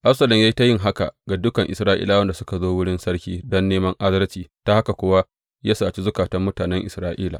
Absalom ya yi ta yin haka ga dukan Isra’ilawan da suka zo wurin sarki don neman adalci, ta haka kuwa ya saci zukatan mutanen Isra’ila.